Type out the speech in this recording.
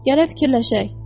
Gərək fikirləşək.